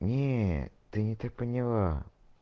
нет ты не так поняла